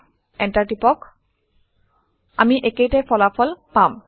enter টিপক আমি একেইটা ফলাফল পাম